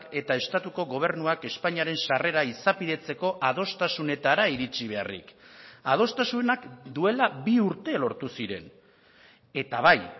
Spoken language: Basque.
eta estatuko gobernuak espainiaren sarrera izapidetzeko adostasunetara iritsi beharrik adostasunak duela bi urte lortu ziren eta bai